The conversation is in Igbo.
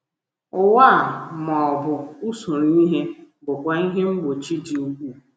Ụwa a, ma ọ bụ usoro ihe, bụkwa ihe mgbochi dị ukwuu.